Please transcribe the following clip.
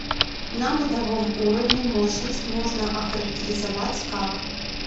на бытовом уровне мощность можно охарактеризовать как